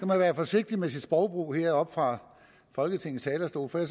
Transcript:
man være forsigtig med sit sprogbrug heroppe fra folketingets talerstol for